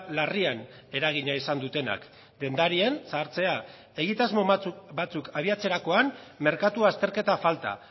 larrian eragina izan dutenak dendarien zahartzea egitasmo batzuk abiatzerakoan merkatu azterketa falta